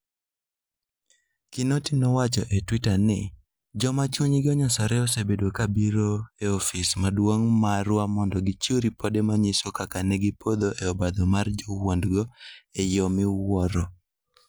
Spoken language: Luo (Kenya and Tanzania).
Kinoti nowacho e Twitter ni, "Joma chunygi onyosore osebedo ka biro e ofis maduong' marwa mondo gichiw ripode manyiso kaka ne gipodho e obadho mar jowuondgo e yo miwuoro".